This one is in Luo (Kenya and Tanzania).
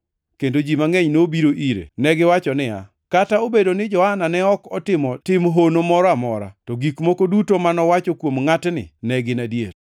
kendo ji mangʼeny nobiro ire. Negiwacho niya, “Kata obedo ni Johana ne ok otimo tim hono moro amora, to gik moko duto manowacho kuom ngʼatni ne gin adier.”